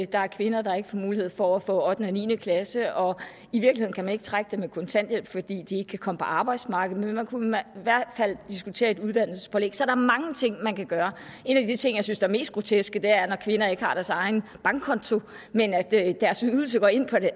der er kvinder der ikke får mulighed for at få ottende og niende klasse og i virkeligheden kan man ikke trække dem i kontanthjælp fordi de ikke kan komme på arbejdsmarkedet men man kunne i hvert fald diskutere et uddannelsespålæg så der er mange ting man kan gøre en af de ting jeg synes er mest groteske er når kvinder ikke har deres egen bankkonto men at deres ydelse går ind på